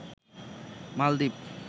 মালদ্বীপ